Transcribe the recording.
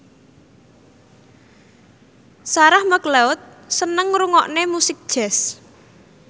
Sarah McLeod seneng ngrungokne musik jazz